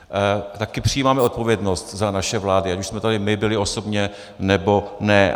Taky přijímáme odpovědnost za naše vlády, ať už jsme tady my byli osobně, nebo ne.